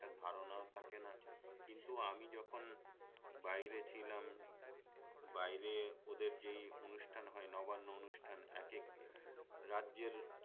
ধারণাও থাকে না কিন্তু আমি যখন বাইরে ছিলাম বাইরে ওদের যেই অনুষ্ঠান হয় নবান্ন অনুষ্ঠান একেক রাজ্যের